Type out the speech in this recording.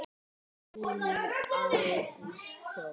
Þinn sonur Ágúst Þór.